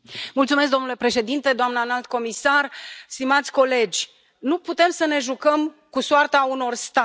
Domnule președinte, doamnă Înalt Reprezentant, stimați colegi, nu putem să ne jucăm cu soarta unor state.